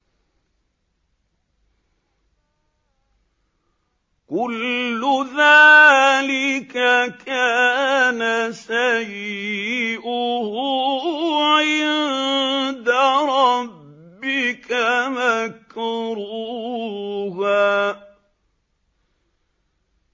كُلُّ ذَٰلِكَ كَانَ سَيِّئُهُ عِندَ رَبِّكَ مَكْرُوهًا